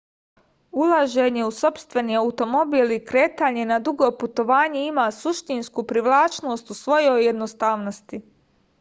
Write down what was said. ulaženje u sopstveni automobil i kretanje na dugo putovanje ima suštinsku privlačnost u svojoj jednostavnosti